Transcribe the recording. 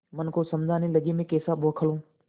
मन को समझाने लगेमैं कैसा बौखल हूँ